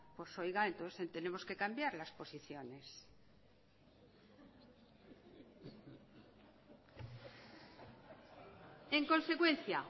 pues oiga entonces tenemos que cambiar las posiciones